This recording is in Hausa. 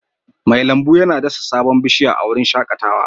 Mai lambu yana dasa sabon bishiya a wurin shakatawa